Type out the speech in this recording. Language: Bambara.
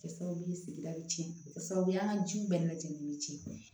Kɛ sababu ye sigida bɛ tiɲɛ o bɛ kɛ sababu ye an ka jiw bɛɛ lajɛlen ci